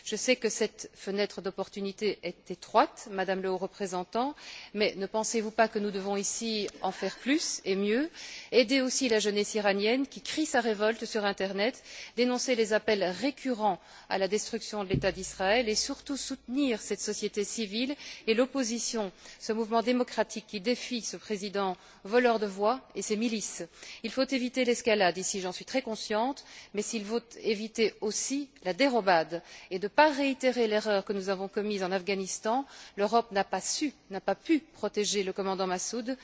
Je sais que cette fenêtre d'opportunité est étroite, Madame la Haute représentante, mais ne pensez vous pas que nous devons ici faire plus et mieux, aider la jeunesse iranienne, qui crie sa révolte sur l'internet, dénoncer les appels récurrents à la destruction de l'État d'Israël et, surtout, soutenir cette société civile et l'opposition, ce mouvement démocratique qui défie ce président voleur de voix et ses milices? Il faut éviter l'escalade, j'en suis très consciente, mais il faut éviter aussi la dérobade et ne pas réitérer l'erreur que nous avons commise en Afghanistan où l'Europe n'a pas su, n'a pas pu protéger le commandant Massoud.